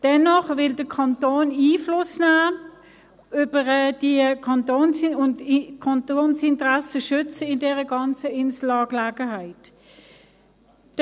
Dennoch will der Kanton Einfluss nehmen und die Kantonsinteressen in dieser ganzen Insel-Angelegenheit schützen.